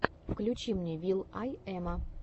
включи мне вил ай эма